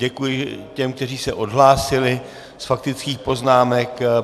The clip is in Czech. Děkuji těm, kteří se odhlásili z faktických poznámek.